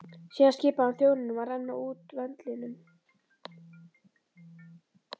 Síðan skipaði hann þjónunum að renna út vöndlinum.